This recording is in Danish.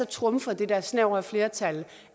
trumfer det der snævre flertal